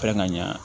Fɛn ka ɲɛ